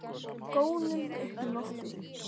Gónum upp í loftið.